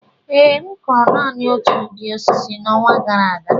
Ee, m kụrụ naanị otu ụdị osisi n'ọnwa gara aga